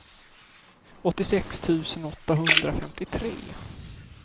åttiosex tusen åttahundrafemtiotre